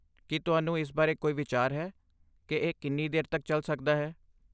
ਕੀ ਤੁਹਾਨੂੰ ਇਸ ਬਾਰੇ ਕੋਈ ਵਿਚਾਰ ਹੈ ਕਿ ਇਹ ਕਿੰਨੀ ਦੇਰ ਤੱਕ ਚੱਲ ਸਕਦਾ ਹੈ?